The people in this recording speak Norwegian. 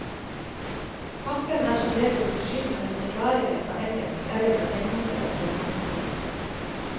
Pakken er som regel forsynt med forklaringer på engelsk, eller med tegninger av fremgangsmåten.